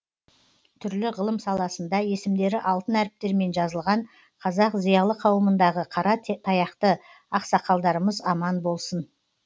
түрлі ғылым саласында есімдері алтын әріптермен жазылған қазақ зиялы қауымындағы қара таяқты ақсақалдарымыз аман болсын